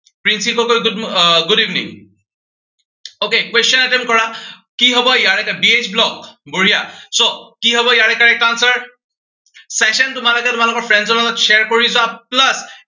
Princy Gogoi ah good mor, good evening okay question attempt কৰা। কি হব ইয়াৰে বি এইচ ব্লগ, বঢ়িয়া so কি হব ইয়াৰে correct answer session তোমালোকে তোমালোকৰ friends ৰ মাজত share কৰি যোৱা plus